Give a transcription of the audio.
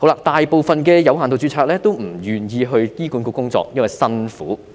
大部分有限度註冊醫生都不願意加入醫管局，因為工作辛苦。